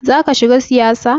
Zaka shiga siyasa?